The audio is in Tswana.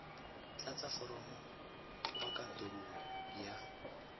tlatsa foromo kwa kantorong ya